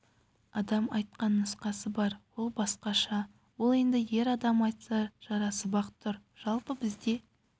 адам айтқан нұсқасы бар ол басқаша ол енді ер адам айтса жарасып-ақ тұр жалпы бізде